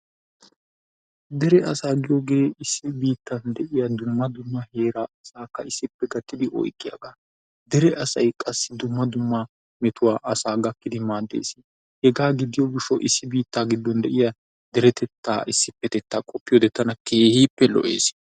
dere asaa giyoogee issi biittan de'iya dumma dumma heera asaakka issippe gattidi oyqqiyaga dere asay qassi dumma dumma metuwa asaa gakkidi maaadees, hegaa gidiyo gishawu issi biitaa gidon de'iya deretetta issipeteta qopiyode tana keehippe lo'ees.